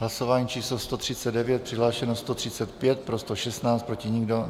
Hlasování číslo 139, přihlášeno 135, pro 116, proti nikdo.